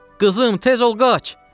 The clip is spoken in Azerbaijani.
Qızım, tez ol qaç!